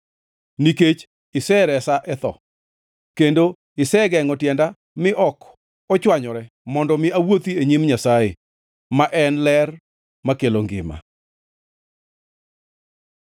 Nikech iseresa e tho kendo isegengʼo tienda mi ok ochwanyore, mondo mi awuothi e nyim Nyasaye ma en e ler makelo ngima.